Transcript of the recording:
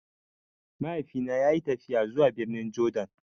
Mahaifi na ya yi tafiya zuwa birnin Jordan